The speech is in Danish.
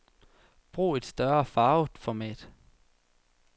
Brug et større farvet format.